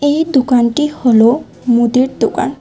এই দোকানটি হলো মুদির দোকান।